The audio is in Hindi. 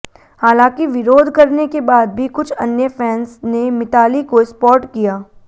हालांकि विरोध करने के बाद भी कुछ अन्य फैंस ने मिताली को सपॉर्ट किया